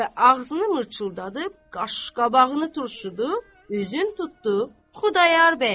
Və ağzını mırçıldadıb, qaşqabağını turşudu, üzün tutdu Xudayar bəyə.